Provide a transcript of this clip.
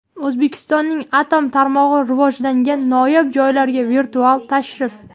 O‘zbekistonning atom tarmog‘i rivojlangan noyob joylarga virtual tashrif.